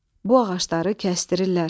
Bu ağacları kəsdirirlər.